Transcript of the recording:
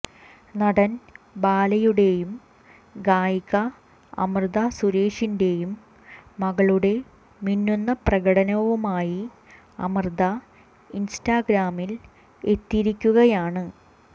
നടൻ ബാലയുടെയും ഗായിക അമൃത സുരേഷിന്റെയുംമകളുടെ മിന്നുന്ന പ്രകടനവുമായി അമൃത ഇൻസ്റ്റാഗ്രാമിൽ എത്തിയിരിക്കുകയാണ്